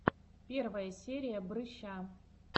первая серия брыща